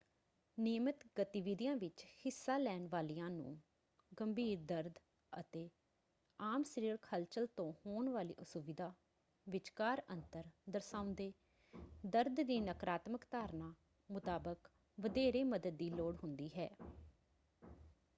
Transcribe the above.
ਨਿਯਮਤ ਗਤੀਵਿਧੀਆਂ ਵਿੱਚ ਹਿੱਸਾ ਲੈਣ ਵਾਲਿਆਂ ਨੂੰ ਗੰਭੀਰ ਦਰਦ ਅਤੇ ਆਮ ਸਰੀਰਕ ਹਲਚਲ ਤੋਂ ਹੋਣ ਵਾਲੀ ਅਸੁਵਿਧਾ ਵਿਚਕਾਰ ਅੰਤਰ ਦਰਸਾਉਂਦੇ ਦਰਦ ਦੀ ਨਕਾਰਾਤਮਕ ਧਾਰਨਾ ਮੁਤਾਬਕ ਵਧੇਰੇ ਮਦਦ ਦੀ ਲੋੜ ਹੁੰਦੀ ਹੈ।